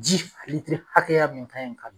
Ji litiri hakɛya min ka ɲi ka